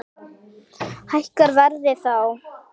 Hækkar verðið þá?